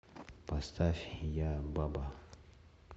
поставь я баба